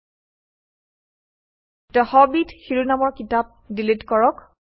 ২ the Hobbit শিৰোনামৰ কিতাপ delete কৰক